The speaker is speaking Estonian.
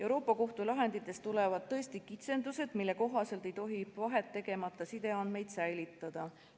Euroopa Liidu Kohtu lahenditest tulevad tõesti kitsendused, mille kohaselt ei tohi vahet tegemata sideandmeid säilitada.